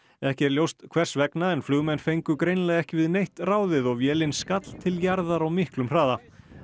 ekki er ljóst hvers vegna en flugmenn fengu greinilega ekki við neitt ráðið og vélin skall til jarðar á miklum hraða